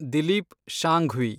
Dilip Shanghvi